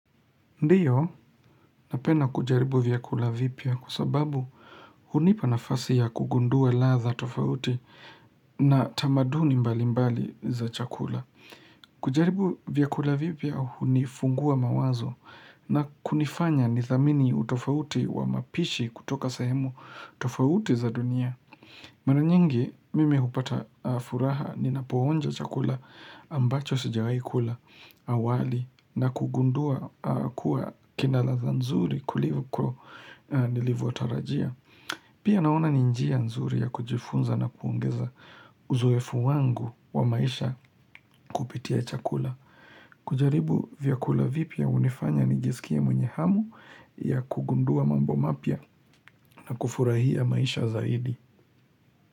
Ndiyo napenda kujaribu vyakula vipya kwa sababu hunipa nafasi ya kugundua ladha tofauti na tamaduni mbalimbali za chakula. Kujaribu vyakula vipya hunifungua mawazo na kunifanya nithamini utofauti wa mapishi kutoka sehemu tofauti za dunia. Mara nyingi mimi hupata furaha ninapoonja chakula ambacho sijawai kula awali na kugundua kuwa kina ladha nzuri kuliko nilivotarajia. Pia naona ni njia nzuri ya kujifunza na kuongeza uzoefu wangu wa maisha kupitia chakula. Kujaribu vyakula vipya hunifanya nijisikie mwenye hamu ya kugundua mambo mapya na kufurahia maisha zaidi.